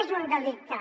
és un delicte